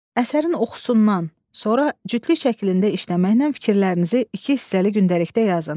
Əsərin oxusundan sonra cütlü şəklində işləməklə fikirlərinizi iki hissəli gündəlikdə yazın.